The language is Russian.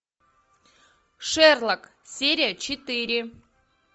шерлок серия четыре